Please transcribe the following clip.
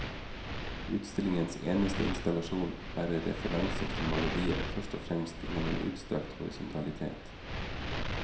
Utstillingens eneste installasjon bærer referanser til maleriet først og fremst gjennom en utstrakt horisontalitet.